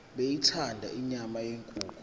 beyithanda inyama yenkukhu